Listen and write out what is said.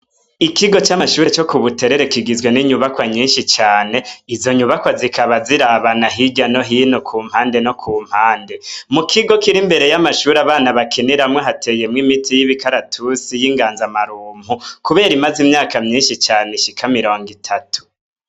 Ikigo camashure yo kubuterere kigizwe ninyubakwa nyinshi cane izo nyubakwa zikaba zirabana hirya no hino kumpande no kumpande mukigo kiri iruhande yamashurwe abana bakiniramwo hateye ibiti vyimikaratusi yingaza marunko kubera imaze imyaka nyinshi irenga mirongo itatu